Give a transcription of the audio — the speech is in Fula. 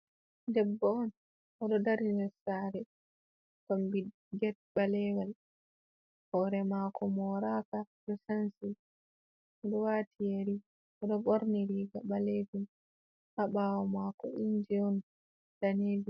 Debbo on oɗo dari nder saare kombi get ɓalewal hoore mako moraaka ɗo sanshi oɗo waati yeri oɗo ɓorni riga ɓalejum ha bawo mako inji on danejum.